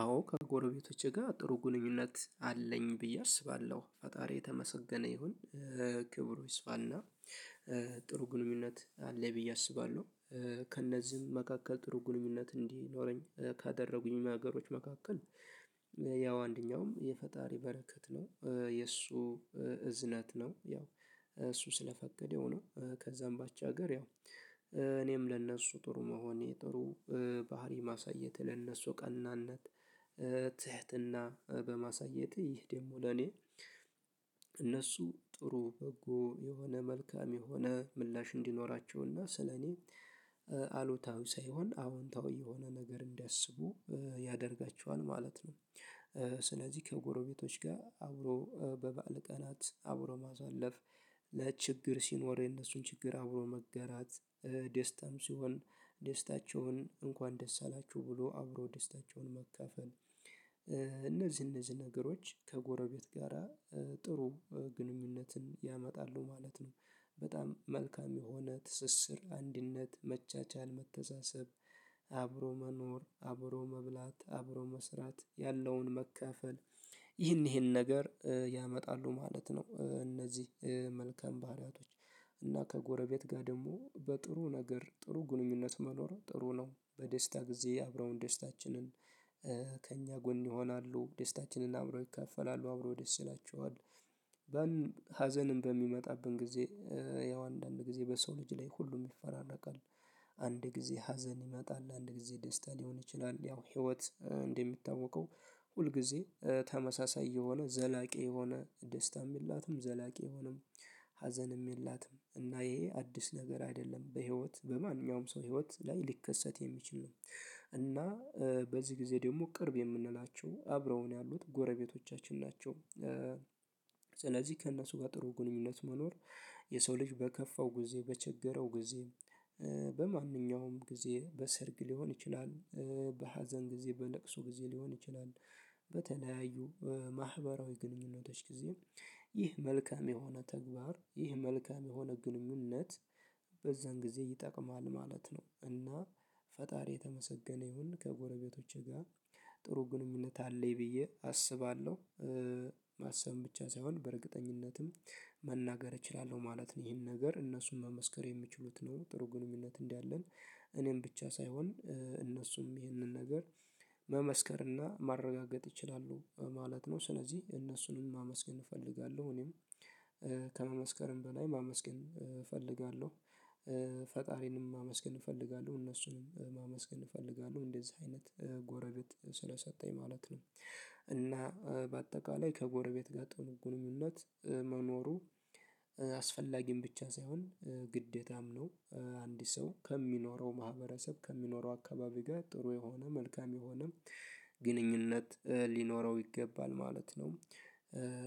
አዎ ከጎረቤቶቼ ጋር ጥሩ ግንኙነት አለኝ ብዬ አስባለሁ ፈጣሪ የተመሰገነ ይሁን ክብሩ ይስፋና ጥሩ ግንኙነት አለኝ ብዬ አስባለሁ። ከእነዚህም መካከል ጥሩ ግንኙነት እንዲኖረኝ ካደረጉኝ ነገሮች መካከል ያው አንደኛውም የፈጣሪ በረከት ነው የእሱ እዝነት ነው ያው እሱ ስለፈቀደው ነው። ከዛም ባሻገር ያው እኔም ለእነሱ ጥሩ መሆኔ ጥሩ ባህሪ ማሳየት ለእነሱ ቀናነት ትህትና በማሳየት ይህ ደግሞ ለኔ እነሱ ጥሩ በጎ የሆነ መልካም የሆነ ምላሽ እንዲኖራቸውና ስለኔ አሉታዊ ሳይሆን አዎንታዊ የሆነ ነገር እንዲያስቡ ያደርጋቸዋል ማለት ነው። ስለዚህ ከጎረቤቶች ጋር አብሮ በበዓል ቀናት አብሮ ማሳለፍ ችግር ሲኖር የነሱን ችግር አብሮ መጋራት ደስታም ሲሆን ደስታቸውን እንኳን ደስ አላችሁ ብሎ አብሮ ደስታቸውን መካፈል። እነዚህ እነዚህ ነገሮች ከጎረቤት ጋራ ጥሩ ግንኙነትን ያመጣሉ ማለት ነው። በጣም መልካም የሆነ ትስስር አንድነት መቻቻል መተሳሰብ አብሮ መኖር አብሮ መብላት አብሮ መስራት ያለውን መካፈል ይህን ይህን ነገር ያመጣሉ ማለት ነው። እነዚህ መልካም ባህሪያቶች እና ከጎረቤት ጋር ደግሞ በጥሩ ነገር ጥሩ ግንኙነት መኖር ጥሩ ነው። በደስታ ጊዜ አብረው ደስታችንን ጎን ይሆናሉ ደስታችንን አብሮ ይካፈላሉ አብሮ ደስ ይላቸዋል። ሀዘንም በሚመጣብን ጊዜ ያው አንዳንድ ጊዜ በሰው ልጅ ላይ ሁሉም ይፈራረቃል። አንድ ጊዜ ሀዘን ይመጣል አንድ ጊዜ ደስታ ሊሆን ይችላል ያው ህይወት እንደሚታወቀው። ሁል ጊዜ ተመሳሳይ የሆነ ዘላቂ የሆነ ደስታም የላትም ዘላቂ የሆነም ሀዘንም የላትም። እና ይሄ አዲስ ነገር አይደለም በህይወት በማንኛውም ሰው ህይወት ላይ ሊከሰት የሚችል ነው። እና በዚህ ጊዜ ደግሞ ቅርብ የምንላቸው አብረው ነው ያሉት ጎረቤቶቻችን ናቸው። ስለዚህ ከእነሱ ጋር ጥሩ ግንኙነት መኖር። የሰው ልጅ በከፋው ጊዜ በቸገረው ጊዜ በማንኛውም ጊዜ በሰርግ ሊሆን ይችላል። በሀዘን ጊዜ በለቅሶ ጊዜ ሊሆን ይችላል። በተለያዩ ማህበራዊ ግንኙነቶች ጊዜ። ይህ መልካም የሆነ ተግባር ይህ መልካም የሆነ ግንኙነት በዛን ጊዜ ይጠቅማል ማለት ነው። እና ፈጣሪ የተመሰገነ ይሁን ከጎረቤቶቼ ጋር ጥሩ ግንኙነት አለኝ ብዬ አስባለሁ። ማሰብም ብቻ ሳይሆን በእርግጠኝነትም እችላለሁ ማለት ነው። ይሄን ነገር እነሱን መመስከር የሚችሉት ነው ጥሩ ግንኙነት እንዳለን። እኔም ብቻ ሳይሆን እነሱም ይህንን ነገር መመስከር እና ማረጋገጥ ይችላሉ ማለት ነው። ስለዚህ እነሱንም ማመስገን እፈልጋለሁ። እኔም ከመመስከርም በላይ ማመስገን እፈልጋለሁ። ፈጣሪንም ማመስገን እፈልጋለሁ እነሱንም ማመስገን እፈልጋለሁ እንደዚህ አይነት ጎረቤት ስለሰጠኝ ማለት ነው። እና በአጠቃላይ ከጎረቤት ጋር ጥሩ እምነት መኖሩ አስፈላጊን ብቻ ሳይሆን ግዴታም ነው። አንድ ሰው ከሚኖረው ማህበረሰብ ከሚኖረው አካባቢ ጋር ጥሩ የሆነ መልካም የሆነ ግንኙነት ሊኖረው ይገባል ማለት ነው።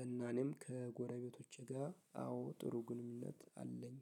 እና እኔም ከጎረቤቶቼ ጋር አዎ ጥሩ ግንኙነት አለኝ